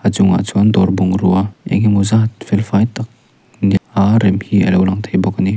chungah chuan dawr bungruah engemawh zat felfai tak a rem hi alo lang theih bawk a ni.